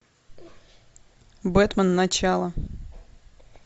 бэтмен начало